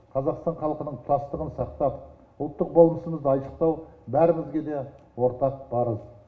қазақстан халқының тұтастығын сақтап ұлттық болмысымызды айшықтау бәрімізге де ортақ парыз